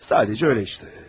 Sadəcə elədi də.